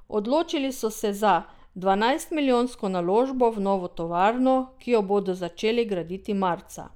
Odločili so se za dvanajstmilijonsko naložbo v novo tovarno, ki jo bodo začeli graditi marca.